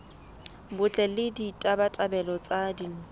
botle le ditabatabelo tsa ditho